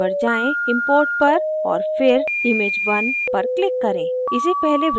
file पर जाएँ import पर और फिर image1 पर click करें